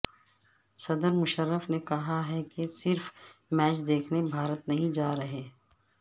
صدر مشرف نے کہا ہے کہ صرف میچ دیکھنے بھارت نہیں جا رہے